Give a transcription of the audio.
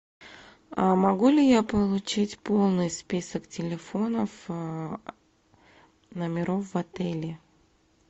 могу ли я получить полный список телефонов номеров в отеле